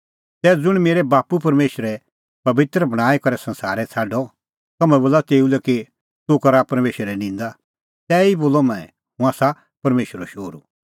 तै ज़ुंण मेरै बाप्पू परमेशरै पबित्र बणांईं करै संसारै छ़ाडअ तम्हैं बोला तेऊ लै कि तूह करा परमेशरे निंदा तैही बोलअ मंऐं हुंह आसा परमेशरो शोहरू